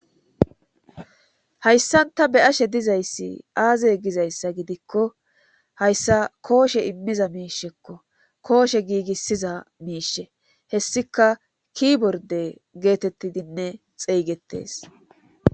Hayssan ta be7ashe dizayssi aazey gizayssa gidikko hayssa kooshe immiza miishekko kooshe giigissiza miishe hessika kiborde geetettidinne xeeygetes.